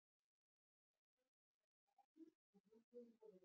Ragnheiður skrifaði blaðagrein og viðbrögðin voru?